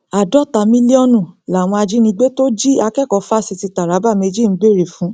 àádọta mílíọnù làwọn ajìnigbe tó jí akẹkọọ fásitì taraba méjì ń béèrè fún